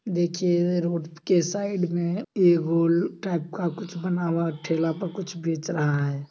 देखिए रोड के साइड में एक टाइप का कुछ बना हुआ ठेला पर कुछ बेच रहा है।